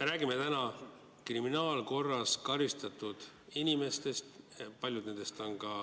Me räägime täna kriminaalkorras karistatud inimestest, paljud nendest on ka